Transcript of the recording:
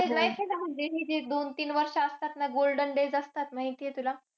Life आहे ना म्हणजे हे जे दोन-तीन वर्ष असतात ना. Golden days माहिताय तुला.